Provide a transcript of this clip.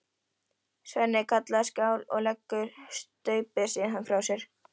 Svenni kallar skál og leggur staupið síðan frá sér.